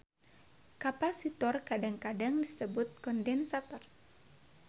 Kapasitor kadang-kadang disebut kondensator.